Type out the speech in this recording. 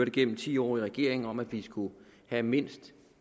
igennem ti år i regering om at vi skulle have mindst